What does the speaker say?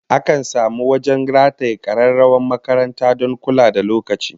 Akan samu wajen rataye kararrawar makaranta don kula da lokaci